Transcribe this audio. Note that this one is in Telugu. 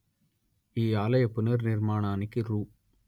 ఈ ఆలయ పునర్నిర్మాణానికి రు